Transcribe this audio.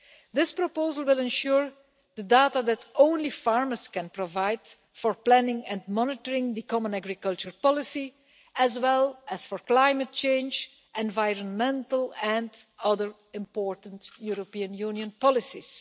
This proposal will ensure the availability of the data that only farmers can provide for planning and monitoring the common agricultural policy, as well as for climate change, environmental and other important European Union policies.